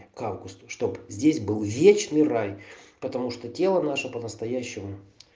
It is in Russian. к августу чтоб здесь был вечный рай потому что тело наше по-настоящему